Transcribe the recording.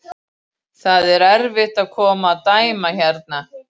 Tvö önnur stökk hans voru ógild